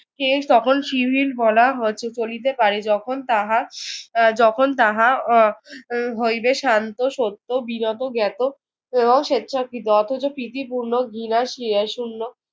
এর সকল বলা চলিতে পারে যখন তাহা আহ যখন তাহা আহ হইবে শান্ত, সত্য, বিনত, জ্ঞাত এবং স্বেচ্ছাকৃত। অথচ প্রীতিপূর্ণ শূন্য